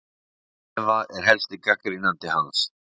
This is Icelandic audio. Eva er helsti gagnrýnandi hans.